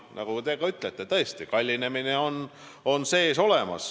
Nagu te ka ütlesite, tõesti, kallinemine on.